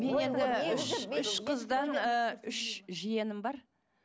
мен енді үш үш қыздан үш ы жиенім бар